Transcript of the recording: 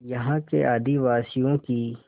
यहाँ के आदिवासियों की